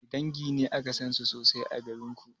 Wanne dangi ne aka sansu sosai a garinku?